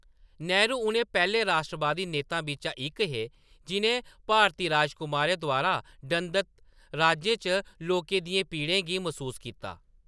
नेहरू उ'नें पैह्‌‌‌ले राश्ट्रवादी नेताएं बिच्चा इक हे जि'नें भारती राजकुमारें द्वारा दंडत राज्यें च लोकें दियें पीड़े गी मसूस कीता।